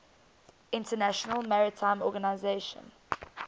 international maritime organization